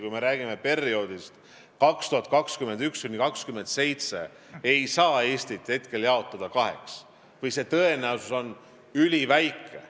Kui me räägime perioodist 2021–2027, siis ei saa Eestit jaotada kaheks või on see tõenäosus üliväike.